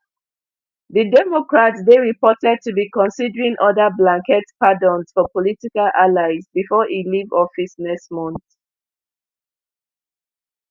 di democrat dey reported to be considering oda blanket pardons for political allies before e leave office next month